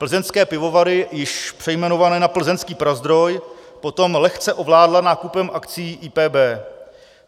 Plzeňské pivovary, již přejmenované na Plzeňský Prazdroj, potom lehce ovládla nákupem akcií IPB.